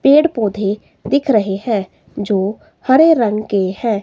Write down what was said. पेड़ पौधे दिख रहे हैं जो हरे रंग के हैं।